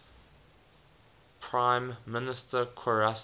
prime minister qarase